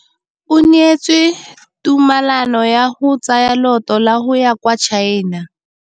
O neetswe tumalanô ya go tsaya loetô la go ya kwa China.